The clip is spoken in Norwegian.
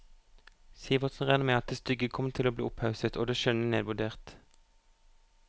Sivertsen regner med at det stygge kommer til å bli opphausset og det skjønne nedvurdert.